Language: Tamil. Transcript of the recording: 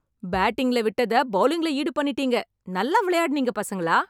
பேட்டிங்க்ல விட்டத பெளலிங்க்ல ஈடு பண்ணிட்டீங்க. நல்லா விளையாடுனீங்க, பசங்களா.